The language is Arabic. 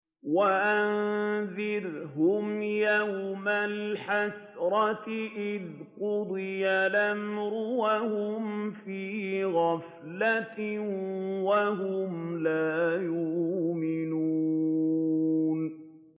وَأَنذِرْهُمْ يَوْمَ الْحَسْرَةِ إِذْ قُضِيَ الْأَمْرُ وَهُمْ فِي غَفْلَةٍ وَهُمْ لَا يُؤْمِنُونَ